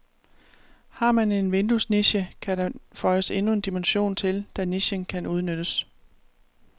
Har man en vinduesniche, kan der føjes endnu en dimension til, da nichen kan udnyttes.